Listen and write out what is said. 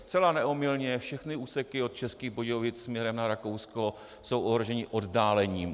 Zcela neomylně, všechny úseky od Českých Budějovic směrem na Rakousko jsou ohroženy oddálením.